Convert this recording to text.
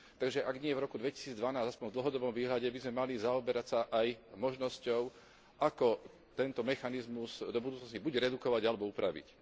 Takže, ak nie v roku 2012, aspoň v dlhodobom výhľade by sme sa mali zaoberať aj možnosťou, ako tento mechanizmus do budúcnosti buď redukovať, alebo upraviť.